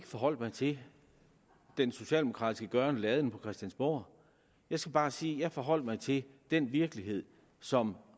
forholdt mig til den socialdemokratiske gøren og laden på christiansborg jeg skal bare sige jeg forholder mig til den virkelighed som